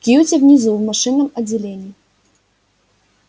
кьюти внизу в машинном отделении